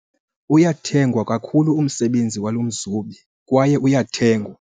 Uyathengwa kakhulu umsebenzi walo mzobi kwaye uyathengwa.